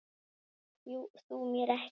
Trúir þú mér ekki?